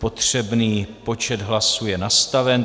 Potřebný počet hlasů je nastaven.